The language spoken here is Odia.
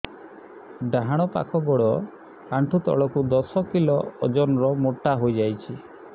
ଡାହାଣ ପାଖ ଗୋଡ଼ ଆଣ୍ଠୁ ତଳକୁ ଦଶ କିଲ ଓଜନ ର ମୋଟା ହେଇଯାଇଛି